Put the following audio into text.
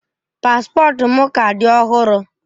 Paspọtụ m ka dị ọhụrụ.